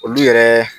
Olu yɛrɛ